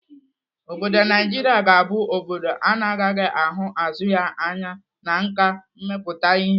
Obodo Naijiria ga-abụ obodo ana agaghị ahụ azụ ya anya na nkà mmepụta ihe